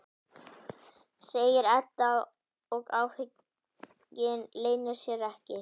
segir Edda og áhuginn leynir sér ekki.